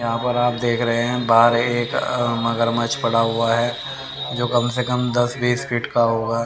यहां पर आप देख रहे हैं बाहर एक अ मगरमच्छ पड़ा हुआ है जो कम से कम दस बीस फिट का होगा।